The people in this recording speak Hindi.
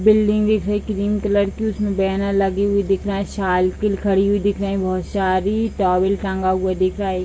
बिल्डिंग दिख रही है क्रीम कलर की उसमें बैनर लगी हुई दिख रहा है साइकिल खड़ी हुई दिख रहे है बहुत सारी टॉवर टंगा हुआ दिख रहा है।